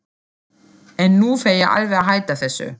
En nú fer ég alveg að hætta þessu.